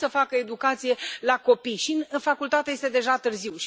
Cum să facă educație la copii? Iar în facultate este deja târziu.